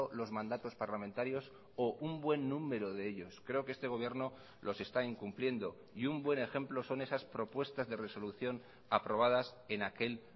los mandatos parlamentarios o un buen número de ellos creo que este gobierno los está incumpliendo y un buen ejemplo son esas propuestas de resolución aprobadas en aquel